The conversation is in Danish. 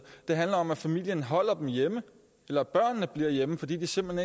det handler om at familien holder dem hjemme eller at børnene bliver hjemme fordi de simpelt